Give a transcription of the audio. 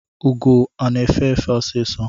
Ụgọ ọ na-efe efe sisọ?